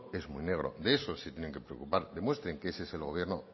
es muy negro de eso se tienen que preocupar demuestren que ese es el gobierno